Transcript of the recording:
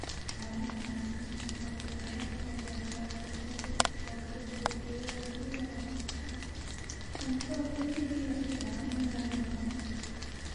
Carrada caafimaadka qabta waxay taageertaa nolosha dhirta oo kala duwan, iyagoo siinaya cunto, hoy, iyo ilaalin noocyo badan.